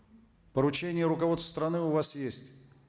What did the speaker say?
поручение руководства страны у вас есть